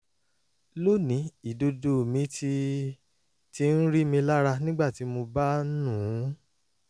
lónìí ìdodo mi ti ti ń rí mi lára nígbà tí mo bá ń nù ún